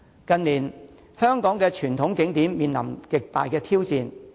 近年香港的傳統景點面臨極大挑戰。